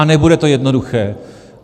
A nebude to jednoduché.